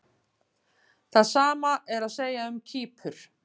Það sama er að segja um Kýpur.